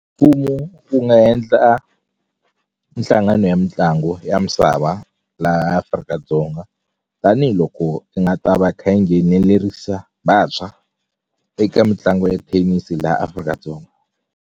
Mfumo wu nga endla mihlangano ya mitlangu ya misava laha Afrika-Dzonga tanihiloko i nga ta va kha yi nghenelerisa vantshwa eka mitlangu ya thenisi laha Afrika-Dzonga.